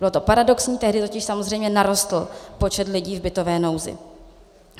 Bylo to paradoxní, tehdy totiž samozřejmě narostl počet lidí v bytové nouzi.